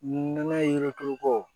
Nɔnɔ yiriko